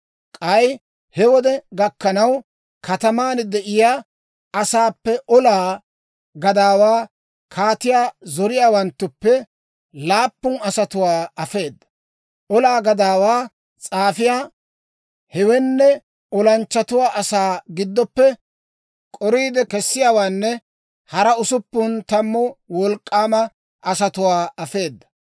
K'ay he wode gakkanaw, kataman de'iyaa asaappe olaa gadaawaa, kaatiyaa zoriyaawanttuppe laappun asatuwaa afeeda. Olaa gadaawaa s'aafiyaa, hewenne olanchchatuwaa asaa giddoppe k'oriide kessiyaawaanne hara usuppun tammu wolk'k'aama asatuwaa afeeda.